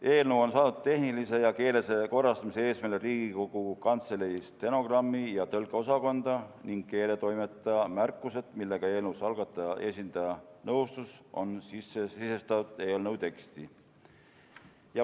Eelnõu saadeti tehnilise ja keelelise korrastamise eesmärgil Riigikogu Kantselei stenogrammi- ja tõlkeosakonda ning keeletoimetaja märkused, millega eelnõu algataja esindaja nõustus, on sisestatud eelnõu teksti.